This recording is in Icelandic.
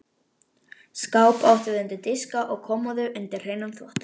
Skáp áttum við undir diska og kommóðu undir hreinan þvott.